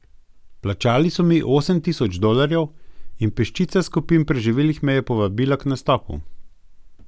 Plačali so mi osem tisoč dolarjev in peščica skupin preživelih me je povabila k nastopu.